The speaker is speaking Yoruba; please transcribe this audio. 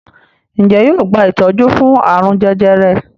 Njé yóò gba itọju fún arun jẹjẹrẹ?